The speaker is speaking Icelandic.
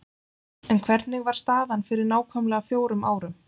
En hvernig var staðan fyrir nákvæmlega fjórum árum?